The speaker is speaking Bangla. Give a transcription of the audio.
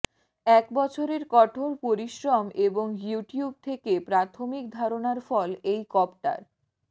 এক বছরের কঠোর পরিশ্রম এবং ইউটিউব থেকে প্রাথমিক ধারণার ফল এই কপ্টার